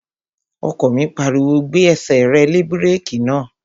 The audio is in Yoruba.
Ọkọ mi pariwo, "Gbé ẹsẹ̀ lé búrèkì náà!"